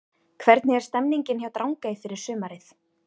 Hvernig er stemningin hjá Drangey fyrir sumarið?